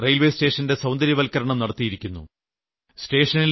അവർ Aligarh railway സ്റ്റേഷന്റെ സൌന്ദര്യവത്ക്കരണം നടത്തിയിരുന്നു